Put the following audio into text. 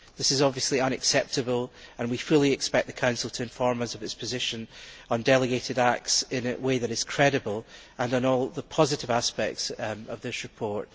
This is obviously unacceptable, and we fully expect the Council to inform us of its position on delegated acts in a way that is credible, and on all the positive aspects of this report.